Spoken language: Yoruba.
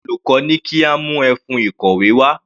Olùkọ́ ní kí a mú ẹfun ìkọ̀wé wá.